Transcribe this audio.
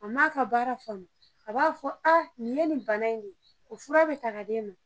A maa ka baara faamu a b'a fɔ a nin ye nin bana in ye o fura bɛ ta ka d'e ma